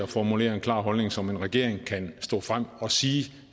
formuleret en klar holdning som en regering kan stå frem at sige